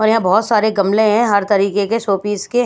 और यहां बहुत सारे गमले हैं हर तरीके के शोपीस के--